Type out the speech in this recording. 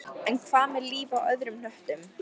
En hvað með líf á öðrum hnöttum?